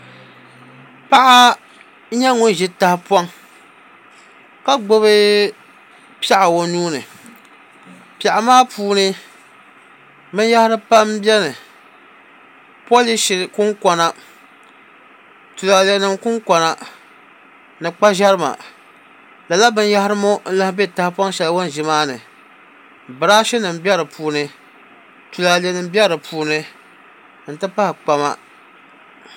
Paɣa n nyɛ ŋun ʒi tahapoŋ ka gbubi piɛɣu o nuuni piɛɣu maa puuni binyahari pam n biɛni polishi nim kunkona tulaalɛ nim kunkona ni kpa ʒɛrima lala binyahri ŋo n lahi bɛ tahapoŋ shɛli o ni ʒi maa ni biraashi nim bɛ di puuni tulaalɛ nim bɛ di puuni n ti pahi kpama